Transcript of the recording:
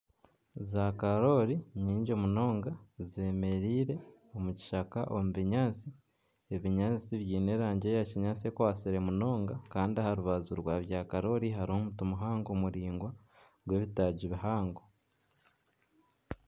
Za karooli nyingi munonga ,zemereire omu kishaka omu binyatsi ,ebinyatsi biine erangi eya kinyatsi ekwatsire munonga ,Kandi aha rubaju rwa bya karooli hariho omuti muhango muraingwa gw'ebitaagi bihango.